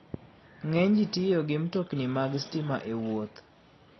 Ng'eny ji tiyo gi mtokni mag stima e wuoth.